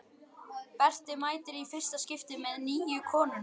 Berti mætir í fyrsta skipti með nýju konuna.